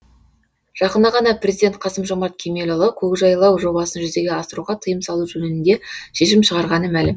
жақында ғана президент қасым жомарт кемелұлы көкжайлау жобасын жүзеге асыруға тыйым салу жөнінде шешім шығарғаны мәлім